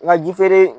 Nka ji feere